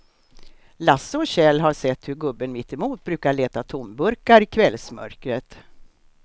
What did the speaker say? Lasse och Kjell har sett hur gubben mittemot brukar leta tomburkar i kvällsmörkret.